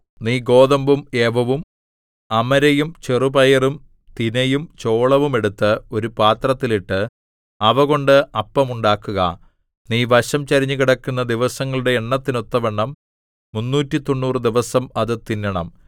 നീ ഗോതമ്പും യവവും അമരയും ചെറുപയറും തിനയും ചോളവും എടുത്ത് ഒരു പാത്രത്തിൽ ഇട്ട് അവ കൊണ്ട് അപ്പം ഉണ്ടാക്കുക നീ വശംചരിഞ്ഞു കിടക്കുന്ന ദിവസങ്ങളുടെ എണ്ണത്തിനൊത്തവണ്ണം മുന്നൂറ്റിതൊണ്ണൂറു ദിവസം അത് തിന്നണം